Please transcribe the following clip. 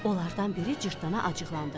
Onlardan biri cırtdana acıqlandı: